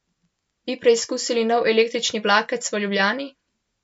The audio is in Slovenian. Bi preizkusili nov električni vlakec v Ljubljani?